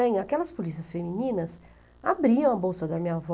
Aquelas polícias femininas abriam a bolsa da minha avó.